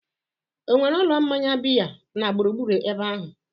ọ nwere ụlọ mmanya biya na gburugburu ebe ahụ?